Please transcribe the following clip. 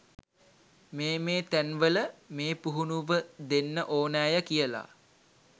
මේ මේ තැන්වල මේ පුහුණුව දෙන්න ඕනෑය කියලා.